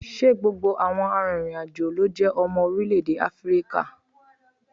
Ṣé gbogbo àwọn arìnrìn-àjò ló jẹ́ ọmọ orílẹ̀ èdè Áfíríkà?